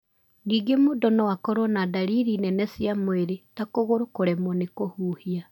Ningĩ mũndũ no akorũo na ndariri nene cia mwĩrĩ, ta kũgũrũ kũremwo nĩ kũhuhia.